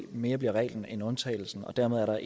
mere bliver reglen end undtagelsen dermed er der